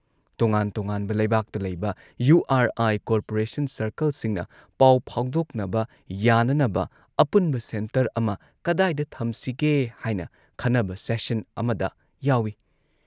ꯇꯣꯉꯥꯟ ꯇꯣꯉꯥꯟꯕ ꯂꯩꯕꯥꯛꯇ ꯂꯩꯕ ꯌꯨ ꯑꯥꯔ ꯑꯥꯏ ꯀꯣꯔꯄꯣꯔꯦꯁꯟ ꯁꯔꯀꯜꯁꯤꯡꯅ ꯄꯥꯎ ꯐꯥꯎꯗꯣꯛꯅꯕ ꯌꯥꯅꯅꯕ ꯑꯄꯨꯟꯕ ꯁꯦꯟꯇꯔ ꯑꯃ ꯀꯗꯥꯏꯗ ꯊꯝꯁꯤꯒꯦ ꯍꯥꯏꯅ ꯈꯟꯅꯕ ꯁꯦꯁꯟ ꯑꯃꯗ ꯌꯥꯎꯏ